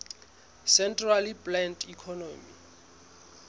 centrally planned economy